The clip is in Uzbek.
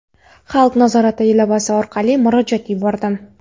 "Xalq nazorati" ilovasi orqali murojaat yubordim.